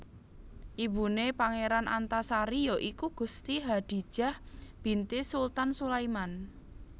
Ibune Pangeran Antasari ya iku Gusti Hadijah binti Sultan Sulaiman